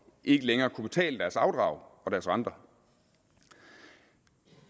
ikke længere kunne betale deres afdrag og renter